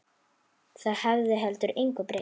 Það hefði heldur engu breytt.